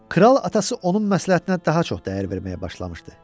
Kral atası onun məsləhətinə daha çox dəyər verməyə başlamışdı.